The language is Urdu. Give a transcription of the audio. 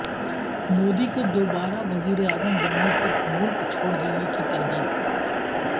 مودی کے دوبارہ وزیراعظم بننے پر ملک چھوڑدینے کی تردید